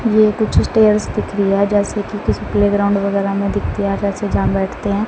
ये कुछ स्टेल्स दिख रई है जैसे कि किसी प्लेग्राउंड वगैरा में दिखती है या जैसे जानवर दिखते --